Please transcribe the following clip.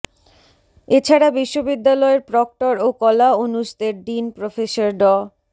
এছাড়া বিশ্ববিদ্যালয়ের প্রক্টর ও কলা অনুষদের ডিন প্রফেসর ড